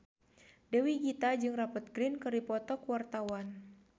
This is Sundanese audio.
Dewi Gita jeung Rupert Grin keur dipoto ku wartawan